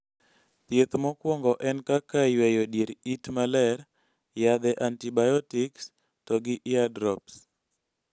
thieth mokuongo en kaka yweyo dier it maler ,yedhe antibiotics, to gi eardrops